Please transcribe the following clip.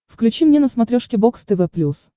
включи мне на смотрешке бокс тв плюс